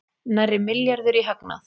Nærri milljarður í hagnað